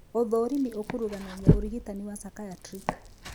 ũthũrimi ũkuruganagia ũrigitani wa psychiatric